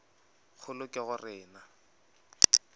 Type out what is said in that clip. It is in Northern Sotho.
kgolo ke go re na